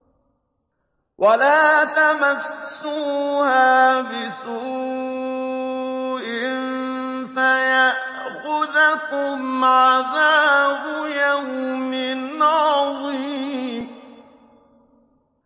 وَلَا تَمَسُّوهَا بِسُوءٍ فَيَأْخُذَكُمْ عَذَابُ يَوْمٍ عَظِيمٍ